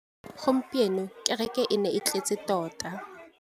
Gompieno kêrêkê e ne e tletse tota.